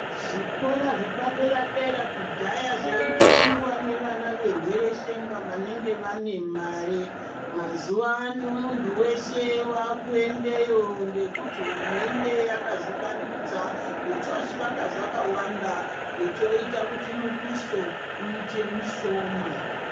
Zvikora zvepadera dera kudhaya zvaitoendwa nevana vehwereshenga vanenge vane mare mazuwaano munthu weshe waakuendeyo ngekuti hurumende yakazvivandudza yochozvivaka zvakawanda yochoita kuti muduso uite mushoma.